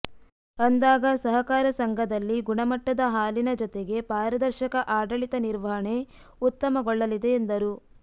ಅಂದಾಗ ಸಹಕಾರ ಸಂಘದಲ್ಲಿ ಗುಣಮಟ್ಟದ ಹಾಲಿನ ಜತೆಗೆ ಪಾರದರ್ಶಕ ಆಡಳಿತ ನಿರ್ವಹಣೆ ಉತ್ತಮಗೊಳ್ಳಲಿದೆ ಎಂದರು